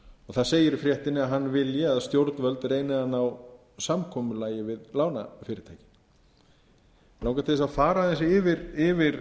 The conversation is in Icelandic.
það segir í fréttinni að hann vilji að stjórnvöld reyni að ná samkomulagi við lánafyrirtækið mig langar til að fara aðeins yfir